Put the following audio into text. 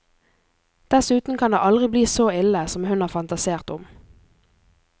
Dessuten kan det aldri bli så ille som hun har fantasert om.